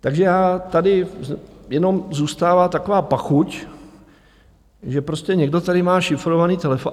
Takže tady jenom zůstává taková pachuť, že prostě někdo tady má šifrovaný telefon.